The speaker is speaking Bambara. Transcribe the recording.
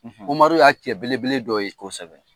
Umaru y'a cɛ belebele dɔ ye, kosɛbɛ